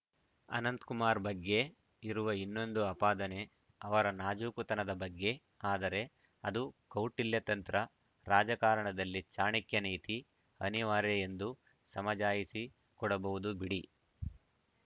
ಅನಂತ ಕುಮಾರ್‌ ಬಗ್ಗೆ ಇರುವ ಇನ್ನೊಂದು ಆಪ ದನೆ ಅವರ ನಾಜೂಕುತನದ ಬಗ್ಗೆ ಆದರೆ ಅದು ಕೌಟಿಲ್ಯ ತಂತ್ರ ರಾಜಕಾರಣದಲ್ಲಿ ಚಾಣಕ್ಯ ನೀತಿ ಅನಿವಾರ್ಯ ಎಂದು ಸಮಜಾಯಿಷಿ ಕೊಡಬಹುದು ಬಿಡಿ